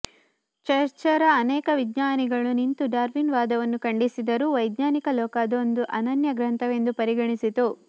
ಚರ್ಚ್ಪರ ಅನೇಕ ವಿಜ್ಞಾನಿಗಳು ನಿಂತು ಡಾರ್ವಿನ್ ವಾದವನ್ನು ಖಂಡಿಸಿದರೂ ವೈಜ್ಞಾನಿಕ ಲೋಕ ಅದೊಂದು ಅನನ್ಯ ಗ್ರಂಥವೆಂದು ಪರಿಗಣಿಸಿತು